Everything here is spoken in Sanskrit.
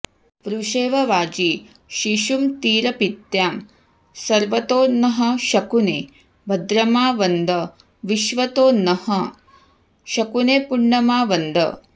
वृषे॑व वा॒जी शिशु॑मतीर॒पीत्या॑ स॒र्वतो॑ नः शकुने भ॒द्रमा व॑द वि॒श्वतो॑ नः शकुने॒ पुण्य॒मा व॑द